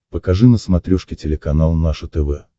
покажи на смотрешке телеканал наше тв